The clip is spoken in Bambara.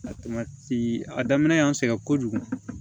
a daminɛ y'an sɛgɛn kojugu